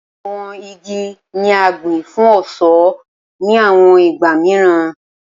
Awọn igi ni a gbin fun ọṣọ ni awọn igba miiran